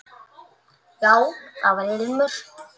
Já, það var ilmur!